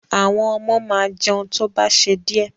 Àwọn ọmọ máa jẹun tó bá ṣe díẹ̀.